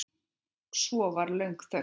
Svo var löng þögn.